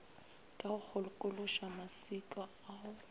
ka go kgokološa maswika ao